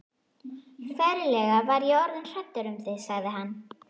Ferlega var ég orðinn hræddur um þig sagði hann.